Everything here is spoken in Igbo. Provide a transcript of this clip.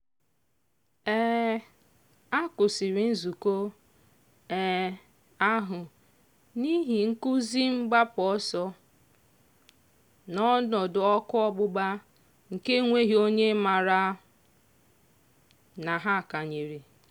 um a kwụsịrị nzukọ um ahụ n'ihi nkụzi mgbapụ ọsọ n'ọnọdụ ọkụ ọgbụgba nke enweghị onye maara na ha kanyere.